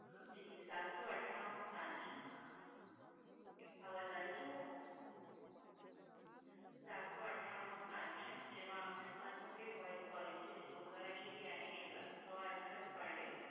જી, સાતસો અઠ્ઠાણું નો plan છે, અવાજ આવી રહ્યો છે madam? સાતસો અઠ્ઠાણું નો plan છે, જેમાં આપને unlimited voice calling છે જે local STD any network, સો SMS per day,